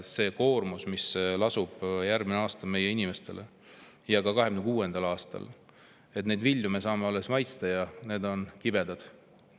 See koormus, mis lasub meie inimestel järgmisel aastal ja ka 2026. aastal, selle vilju me saame alles maitsta ja need on kibedad.